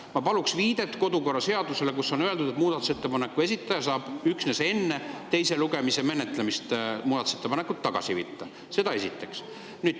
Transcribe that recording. Ma palun viidet kodukorraseadusele, kus on öeldud, et muudatusettepaneku esitaja saab üksnes enne teise lugemise menetlemist muudatusettepaneku tagasi võtta.